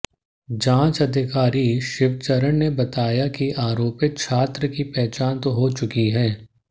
जांच अधिकारी शिवचरण ने बताया कि आरोपित छात्र की पहचान तो हो चुकी है